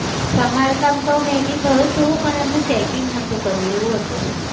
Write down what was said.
સમાર કામ તો may be થયું હતું પણ એમનું checking નહતું કર્યું એવું હતું.